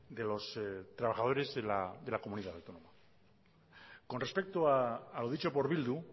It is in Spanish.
de los trabajadores de la comunidad autónoma con respecto a lo dicho por bildu